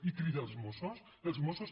i crida els mossos els mossos